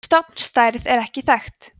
stofnstærð er ekki þekkt